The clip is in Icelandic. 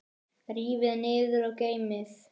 Rífið niður og geymið.